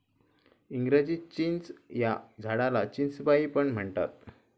इंग्रजी चिंच या झाडालाच'चिंचबाई' पण म्हणतात.